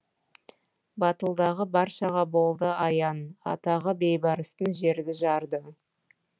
батылдығы баршаға болды аян атағы бейбарыстың жерді жарды